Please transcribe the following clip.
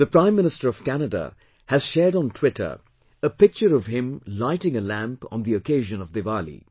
The Prime Minister of Canada has shared on Twitter a picture of him lighting a lamp on the occasion of Diwali